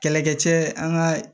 Kɛlɛkɛ cɛ an ka